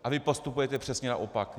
A vy postupujete přesně naopak.